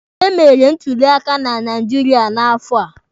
Emere ntuli aka na Naijiria n'afọ a.